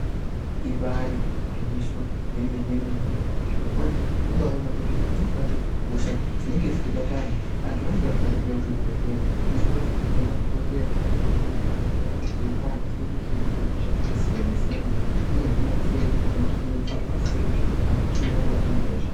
Ibaari gwinyiso remenemene zvirokwazvo tobaaona kuti pamweni pacho hosha dzinenge dzeibata antu ,antu anonga asingadi kuuya kuzvibhehleya zvinoita kuti madhokodheya ahambe munharaunda eipa anhu fundiso yekuti hosha dzakasiyanasiyana dzinohinwa sei nekuti dzinodziirirwa sei kuti anhu asanyanye kubatwa ngehosha.